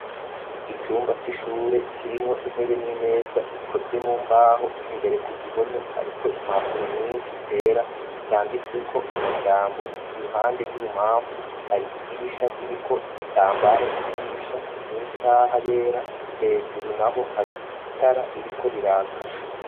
Icumba c'ishure kirimwo intebe n'imeza zikozwe mu mbaho imbere ku gihome hari ko impapuro nyinshi zera zanditsweko amajambo iruhande rw'ubumamfu hari idirisha ririko igitambara c'idirisha n'isaha yera hejuru na ho hari itara ririko rirakara.